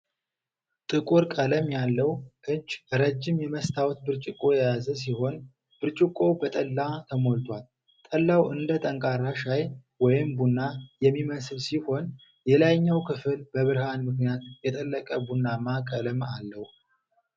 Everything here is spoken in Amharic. ጥቁር ቀለም ያለው እጅ ረጅም የመስታወት ብርጭቆ የያዘ ሲሆን፣ ብርጭቆው በጠላ ተሞልቷል። ጠላው እንደ ጠንካራ ሻይ ወይም ቡና የሚመስል ሲሆን፣ የላይኛው ክፍል በብርሃን ምክንያት የጠለቀ ቡናማ ቀለም አለው።